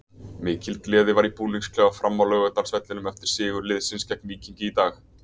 Mikil gleði var í búningsklefa Fram á Laugardalsvellinum eftir sigur liðsins gegn Víkingi í dag.